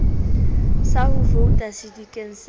sa ho vouta sedikeng sa